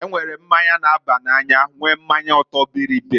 E nwere mmanya na-aba n'anya nwee mmanya ọtọ-bịrịbịrị.